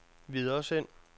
videresend